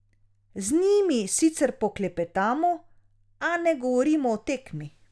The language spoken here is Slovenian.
Z njimi sicer poklepetamo, a ne govorimo o tekmi.